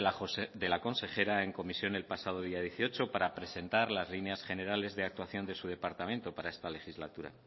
de la consejera en comisión el pasado día dieciocho para presentar las líneas generales de actuación de su departamento para esta legislatura